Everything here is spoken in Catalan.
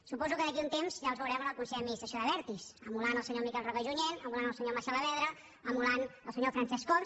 suposo que d’aquí a un temps ja els veurem en el consell d’administració d’abertis emulant el senyor miquel roca i junyent emulant el senyor macià alavedra emulant el senyor francesc homs